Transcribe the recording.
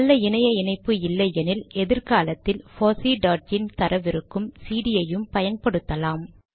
நல்ல இணைய இணைப்பு இல்லையெனில் எதிர் காலத்தில் போஸி டாட் இன் தரவிருக்கும் சிடி யையும் பயன்படுத்தலாம்